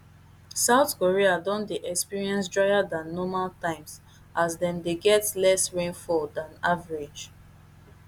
south korea don dey experience drier dan normal times as dem dey get less rainfall dan average